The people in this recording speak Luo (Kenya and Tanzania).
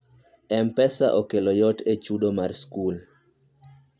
mpesa okelo yot e chudo mar skul